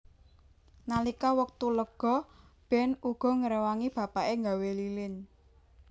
Nalika wektu lega Ben uga ngrewangi bapake gawé lilin